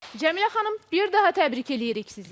Cəmilə xanım, bir daha təbrik eləyirik sizi.